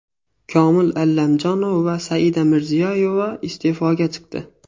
Komil Allamjonov va Saida Mirziyoyeva iste’foga chiqdi.